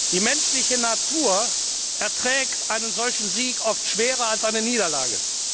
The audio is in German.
Die menschliche Natur erträgt einen solchen Sieg oft schwerer als eine Niederlage.